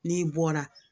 N'i bɔra